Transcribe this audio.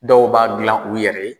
Dɔw b'a dilan u yɛrɛ ye.